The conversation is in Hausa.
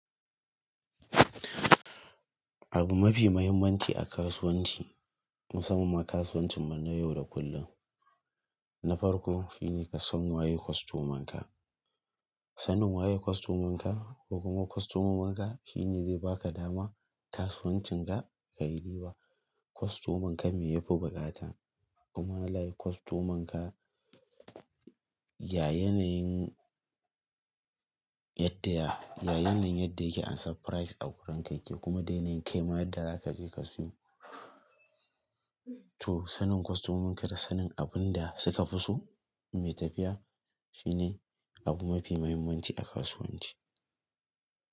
Abu mafi mahimmanci a kasuwanci musamman kasuwancinmu na yau da kullum na farko shine kasan waye kwastoman ka. Sanin waye ƙwastoman ka ko kuma ƙwastomominka shine zai baka dama kasuwancinga kayi riba. Kwastoman ka me yafi bukata kuma halayen kwastoman ka, ya yanayin yadda ya, ya yanayin yadda yake ansa prize a wurinka yake kuma da yanayin kaima yadda zakaje ka siyo. To sanin kwastomomin ka da sanin abun da suka fiso mai tafiya shine abu mafi mahimmanci a kasuwanci.